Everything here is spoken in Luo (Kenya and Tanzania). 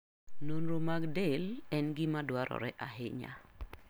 Nonro mag del en gima dwarore ahinya.